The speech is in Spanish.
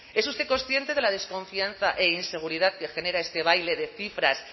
es usted consciente de la desconfianza e inseguridad que genera este baile de cifras